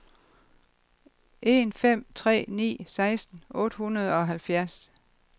en fem tre ni seksten otte hundrede og halvfjerds